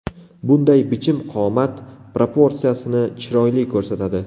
Bunday bichim qomat proporsiyasini chiroyli ko‘rsatadi.